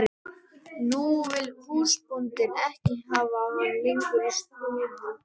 Nú vill húsbóndinn ekki hafa hann lengur í stóði.